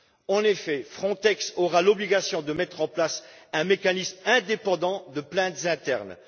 En effet, Frontex aura l'obligation de mettre en place un mécanisme indépendant de plaintes internes.